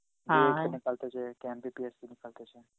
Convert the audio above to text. Hindi Hindi